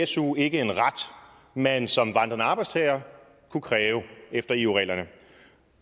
su ikke en ret man som vandrende arbejdstager kunne kræve efter eu reglerne og